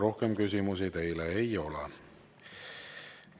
Rohkem küsimusi teile ei ole.